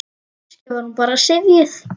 Kannski var hún bara syfjuð.